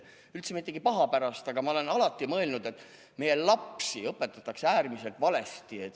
Üldse mitte paha pärast, aga ma olen alati mõelnud, et meie lapsi õpetatakse äärmiselt valesti.